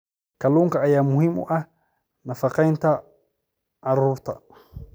Kalluunka ayaa muhiim u ah nafaqeynta carruurta.